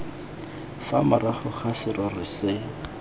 fa morago ga serori se